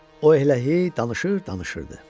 O eləhi danışır, danışırdı.